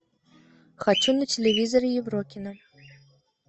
хочу на телевизоре еврокино